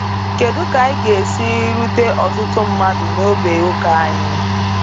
Kedu ka anyị ga-esi rute ọtụtụ mmadụ n’ógbè ụka anyị?